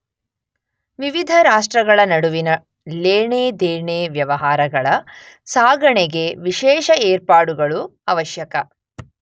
ವಿವಿಧ ರಾಷ್ಟ್ರಗಳ ನಡುವಿನ ಲೇಣೆ, ದೇಣೆ ವ್ಯವಹಾರಗಳ ಸಾಗಣೆಗೆ ವಿಶೇಷ ಏರ್ಪಾಡುಗಳು ಆವಶ್ಯಕ.